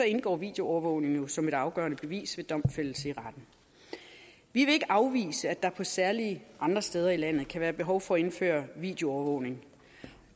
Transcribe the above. indgår videoovervågningen jo som et afgørende bevis ved domfældelse i retten vi vil ikke afvise at der på særlige andre steder i landet kan være behov for at indføre videoovervågning